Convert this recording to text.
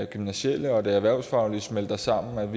gymnasiale og det erhvervsfaglige smelter sammen